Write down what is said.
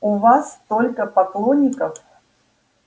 у вас столько поклонников